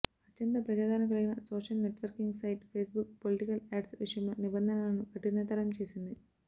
అత్యంత ప్రజాధారణ కల్గిన social networking site Facebook political ads విషయంలో నిబంధనలను కఠినతరం చేసింది